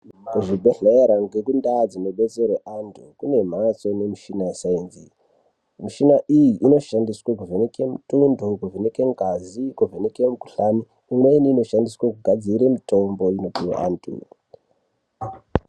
Kuzvibhedhlera nekundau dzinodetserwa antu kune mbatso nemichina yesainzi michina iyi inoshandiswa kuvheneka mutundo kuvheneka ngazi kuvheneka mikuhlani imweni inoshandiswa kugadzira mitombo inopuwa antu.